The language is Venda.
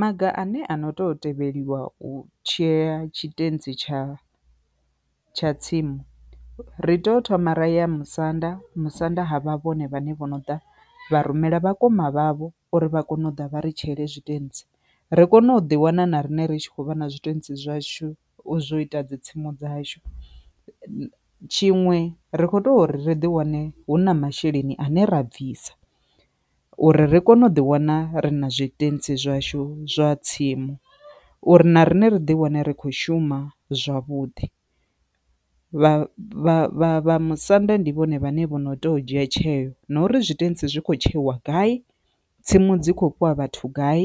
Maga ane ano to tevheliwa u tshea tshitentsi tsha tsha tsimu, ri tea u thoma ra ya musanda musanda ha vha vhone vhane vho no ḓa vha rumela vhakoma vhavho uri vha kone u ḓa vha ri tsheele zwiṱentsi ri kone u ḓi wana na riṋe ri tshi khou vha na zwiṱentsi zwashu zwo ita dzi tsimu dzashu, tshiṅwe ri kho to ri ḓi wane hu na masheleni ane ra bvisa uri ri kone u ḓi wana ri na zwitentsi zwashu zwa tsimu uri na riṋe ri ḓi wane ri kho shuma zwavhuḓi. Vha vha vhamusanda ndi vhone vhane vho no to dzhia tsheo na uri tshitentsi zwi khou tshekhiwa gai tsimu dzi khou fhiwa vhathu gai,